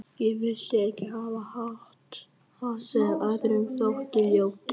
Ég vildi ekki hafa hatt sem öðrum þótti ljótur.